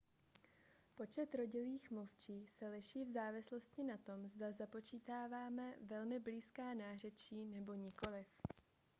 počet rodilých mluvčích se liší v závislosti na tom zda započítáme velmi blízká nářečí nebo nikoliv